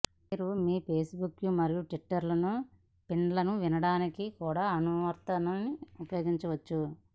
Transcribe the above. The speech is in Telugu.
మీరు మీ ఫేస్బుక్ మరియు ట్విట్టర్ ఫీడ్లను వినడానికి కూడా అనువర్తనాన్ని ఉపయోగించవచ్చు